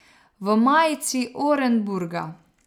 V majici Orenburga.